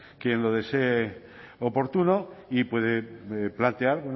quien lo desee oportuno y puede plantear